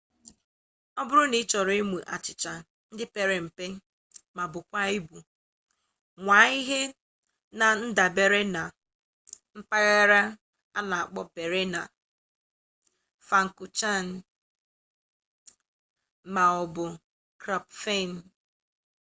ọ bụrụ na ị chọrọ ụmụ achịcha ndị pere mpe ma baakwa ụba nwaa ihe na-ndabere na mpaghara a na-akpọ berliner pfannkuchen ma ọ bụ krapfen